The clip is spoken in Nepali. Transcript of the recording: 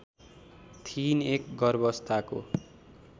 थिइन् एक गर्भावस्थाको